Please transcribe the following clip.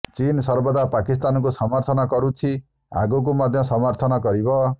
ଚୀନ୍ ସର୍ବଦା ପାକିସ୍ତାନକୁ ସମର୍ଥନ କରୁଛି ଆଗକୁ ମଧ୍ୟ ସମର୍ଥନ କରିବ